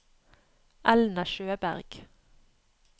Elna Sjøberg